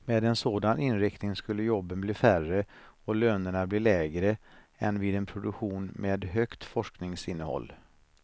Med en sådan inriktning skulle jobben bli färre och lönerna bli lägre än vid en produktion med högt forskningsinnehåll.